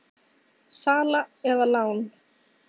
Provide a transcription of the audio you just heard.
Sala eða lán?